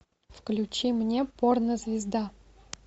включи мне порнозвезда